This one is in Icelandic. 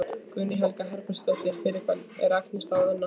Guðný Helga Herbertsdóttir: Fyrir hvern er Agnes þá að vinna?